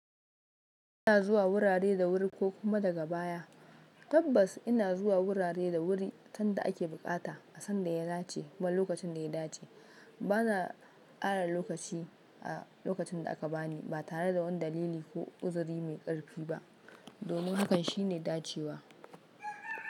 Ina zuwa wurare da wuri ko kuma daga baya. Tabbas ina zuwa wurare da wuri sanda ake buƙata, a sanda ya dace kuma lokacin da ya dace. Bana kara lokaci a lokacin da aka bani ba tare da wani dalili ko uzuri mai ƙarfi ba. Domin hakan shine dacewa.